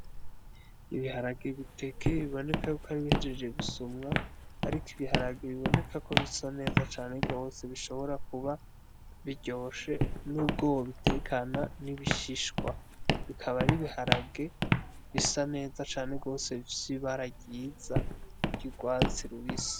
Ibiharage bitekeye biboneka yuko ari ibihejeje gusumwa ariko ibiharage biboneka ko bisa neza cane gose bishobora kuba biryoshe nubwo wobitekana n'ibishishwa bikaba ari ibiharage bisa neza cane gose bifise ibara ryiza ry'ugwatsi rubisi